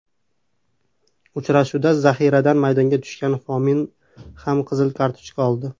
Uchrashuvda zahiradan maydonga tushgan Fomin ham qizil kartochka oldi.